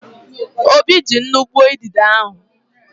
Obi ji nnu gbuo idide ahụ.